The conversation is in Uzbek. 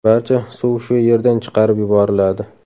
Barcha suv shu yerdan chiqarib yuboriladi.